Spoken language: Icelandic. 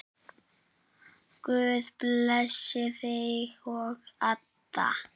Guð blessi þig og Adda.